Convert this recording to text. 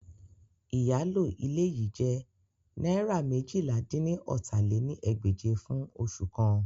Iyalo ile yii jẹ naira meéjìlá-dín-ní-ọ́ta lé ní ẹgbẹ́je fun oṣu kan